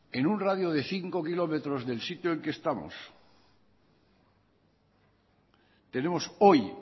en un radio de cinco kilómetros del sitio en el que estamos tenemos hoy